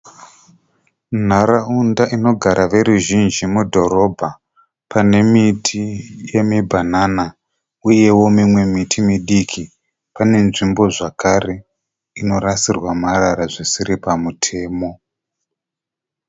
Nharaunda inogara veruzhinji mudhorobha. Pane miti yemibhanana uyeo mimwe miti midiki. Pane nzvimbo zvakare inorasirwa marara zvisiri pamutemo.